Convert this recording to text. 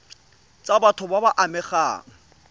tsa batho ba ba amegang